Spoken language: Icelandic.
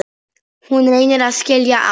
Hún reynir að skilja allt.